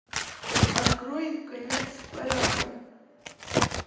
открой конец парада